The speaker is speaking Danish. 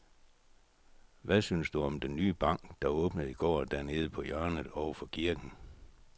Hvad synes du om den nye bank, der åbnede i går dernede på hjørnet over for kirken?